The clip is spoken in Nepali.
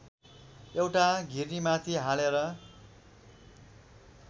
एउटा घिर्नीमाथि हालेर